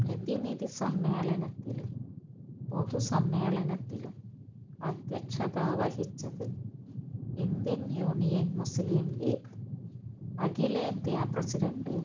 പ്രതിനിധി സമ്മേളനത്തിലും പൊതുസമ്മേളനത്തിലും അധ്യക്ഷത വഹിച്ചത് ഇന്ത്യൻ യൂനിയൻ മുസ്ലിം ലീഗ് അഖിലേന്ത്യാ പ്രസിഡന്റ്